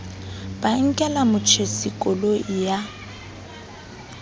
ba nkela motjhesi koloi ya